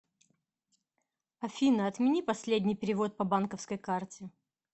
афина отмени последний перевод по банковской карте